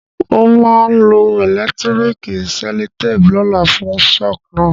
N o ma lo electrical cellotape lóla fun shock náà